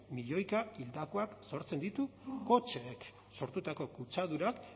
milioika hildakoak sortzen ditu kotxeek sortutako kutsadurak